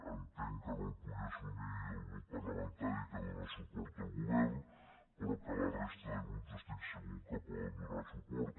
entenc que no el pugui assumir el grup parlamentari que dóna suport al govern però que la resta de grups estic segur que hi poden donar suport